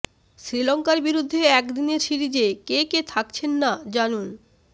শ্রীলঙ্কার বিরুদ্ধে একদিনের সিরিজে কে কে থাকছেন না জানুন